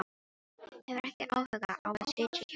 Hefur ekki áhuga á að sitja hjá honum.